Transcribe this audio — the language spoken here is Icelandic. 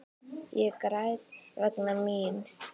Ég græt vegna mín.